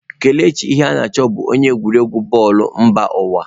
Kelechi Iheanacho bụ onye egwuregwu bọọlụ mba ụwa.